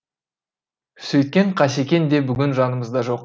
сөйткен қасекең де бүгін жанымызда жоқ